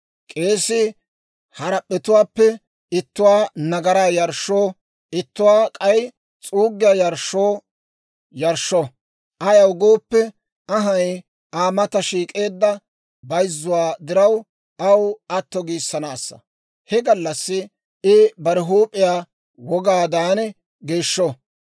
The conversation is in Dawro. K'eesii harap'p'etuwaappe ittuwaa nagaraa yarshshoo, ittuwaa k'ay s'uuggiyaa yarshshoo yarshsho. Ayaw gooppe, anhay Aa mata shiik'eedda bayzzuwaa diraw, aw atto giissanaassa. He gallassi I bare huup'iyaa wogaadan geeshsho;